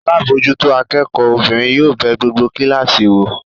Alábòójútó akẹ́kọ̀ọ́ obìnrin yóò bẹ gbogbo kíláàsì wò.